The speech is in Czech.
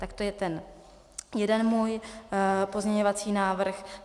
Tak to je ten jeden můj pozměňovací návrh.